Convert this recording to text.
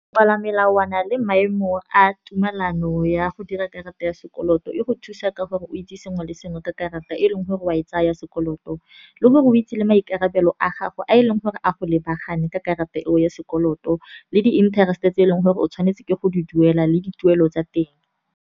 Pala melawana le maemo a tumelano ya go dira karata ya sekoloto, e go thusa ka gore o itse sengwe le sengwe ka karata e leng gore wa e tsaya sekoloto. Le gore o itse le maikarabelo a gago a e leng gore a go lebagane ka karata eo ya sekoloto, le di-interest tse e leng gore o tshwanetse ke go di duela le di tuelo tsa teng.